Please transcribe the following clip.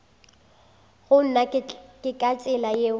gona ke ka tsela yeo